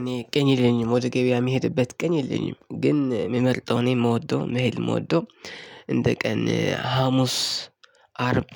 እኔ ቀን የለኝም ወደ ገበያ የምሄድበት ቀኝ የለኝም ግን የምመርጠው እኔ የምወደው መሄድ የምወደው እንደ ቀን ሀሙስ አርብ